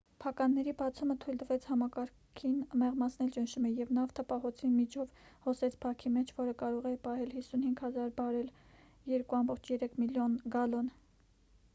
փականների բացումը թույլ տվեց համակարգին մեղմացնել ճնշումը և նավթը պահոցի միջով հոսեց բաքի մեջ որը կարող էր պահել 55,000 բարել 2,3 միլիոն գալոն: